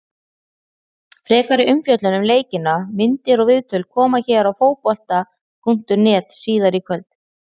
Frekari umfjöllun um leikina, myndir og viðtöl, koma hér á Fótbolta.net síðar í kvöld.